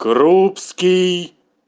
крупский